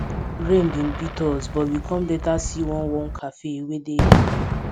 rain bin beat us but we com later see one warm cafe wey dey hidden